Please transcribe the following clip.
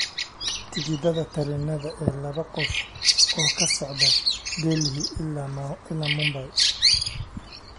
tikidhada tareenada ee laba qof oo ka socda Delhi ilaa Mumbai